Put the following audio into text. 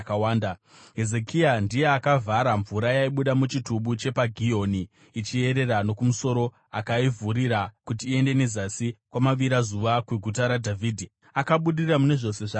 Hezekia ndiye akavhara mvura yaibuda muchitubu chepaGihoni ichiyerera nokumusoro akaivhurira kuti iende nezasi kumavirazuva kweGuta raDhavhidhi. Akabudirira mune zvose zvaiita.